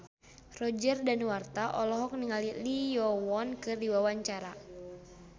Roger Danuarta olohok ningali Lee Yo Won keur diwawancara